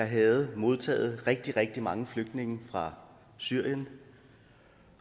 havde modtaget rigtig rigtig mange flygtninge fra syrien